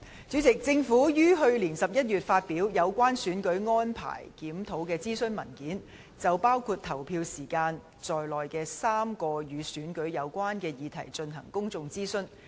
主席，政府於去年11月發表《有關選舉安排檢討的諮詢文件》，就包括投票時間在內的3個與選舉有關的議題進行公眾諮詢。